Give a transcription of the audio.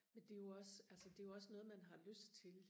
men det er jo også altså det er jo også noget man har lyst til